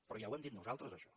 però ja ho hem dit nosaltres això